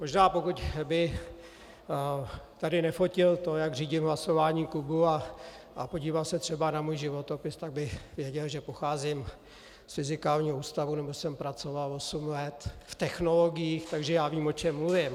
Možná pokud by tady nefotil to, jak řídím hlasování klubu, a podíval se třeba na můj životopis, tak by věděl, že pocházím z Fyzikálního ústavu nebo jsem pracoval osm let v technologiích, takže já vím, o čem mluvím.